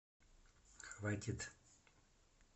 хватит